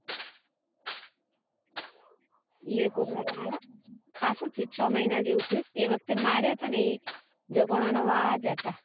એ ખાસું થયું છ મહિના જેવું થયું એ વખતે માર્યા હતા ને એ જગણા વાળા જ હતા